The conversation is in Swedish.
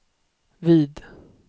vid